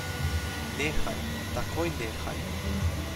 Nehaj, takoj nehaj!